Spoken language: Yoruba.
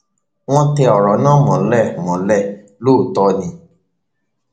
wọn tẹ ọrọ náà mọlẹ mọlẹ lóòótọ ni